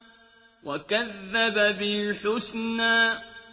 وَكَذَّبَ بِالْحُسْنَىٰ